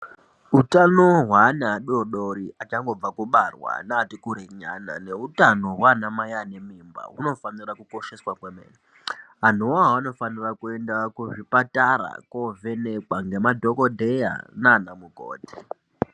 Utano hwaana adori dori, achangobva kubarwa, neati kurei nyana neutano hwanamai ane mimba hunofanira kukosheswa kwemene. Anhu iwawo anofanira kuenda kuzvipatara kovhenekwa ngemadhokodheya nanamukoti.